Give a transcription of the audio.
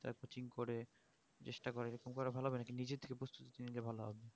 এতো দিন পরে চেষ্টা করা যাক কিন্তু ওরা ভালো হবে না কিন্তু যে ভালো হবে